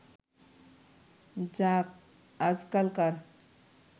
যাক আজকালকার